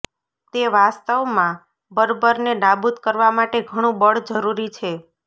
તે વાસ્તવમાં બર્બરને નાબૂદ કરવા માટે ઘણું બળ જરૂરી છે